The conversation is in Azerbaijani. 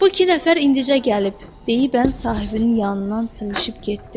Bu iki nəfər indicə gəlib, deyibən sahibinin yanından sıyıışıb getdi.